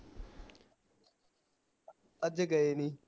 ਅੱਜ ਗਏ ਨੀ